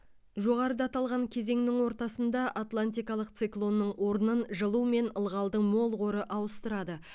жоғарыда аталған кезеңнің ортасында анлантикалық циклонның орнын жылу мен ылғалдың мол қоры ауыстырады